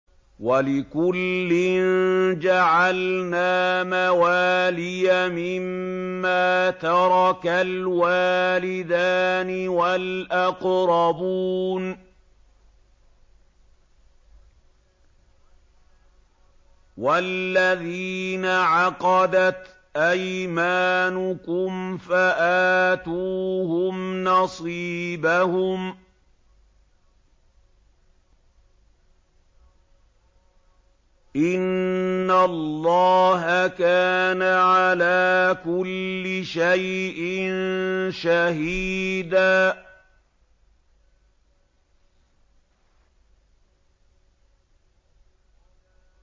وَلِكُلٍّ جَعَلْنَا مَوَالِيَ مِمَّا تَرَكَ الْوَالِدَانِ وَالْأَقْرَبُونَ ۚ وَالَّذِينَ عَقَدَتْ أَيْمَانُكُمْ فَآتُوهُمْ نَصِيبَهُمْ ۚ إِنَّ اللَّهَ كَانَ عَلَىٰ كُلِّ شَيْءٍ شَهِيدًا